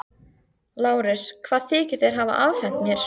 LÁRUS: Hvað þykist þér hafa afhent mér?